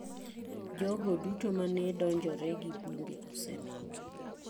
Jogo duto mane donjore gi bunge osemaki.